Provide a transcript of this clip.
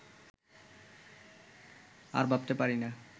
আর ভাবতে পারি না